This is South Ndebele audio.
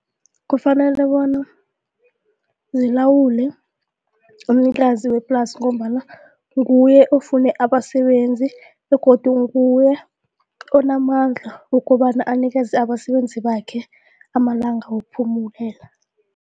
Kufanele bona zilawule umnikazi weplasi ngombana nguye ofune abasebenzi begodu nguye onamandla ukobana abanikeze abasebenzi bakhe amalanga